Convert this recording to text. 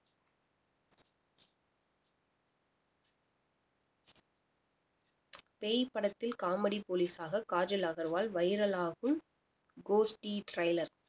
பேய் படத்தில் comedy police ஆக காஜல் அகர்வால் viral ஆகும் கோஷ்டி trailer